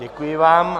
Děkuji vám.